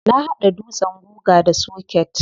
Na hada dutsen guga da soket.